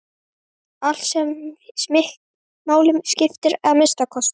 Allt sem máli skiptir að minnsta kosti.